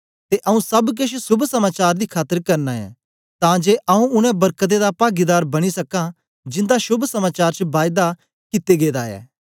ते आऊँ सब केछ शोभ समाचार दी खातर करना ऐं तां जे आऊँ उनै वरकतें दा पागीदार बनी सकां जिंदा शोभ समाचार च बायदा कित्ते गेदा ऐ